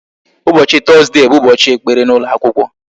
Ụbọchị Tọzdee bụ Ụbọchị ekpere n'ụlọ akwụkwọ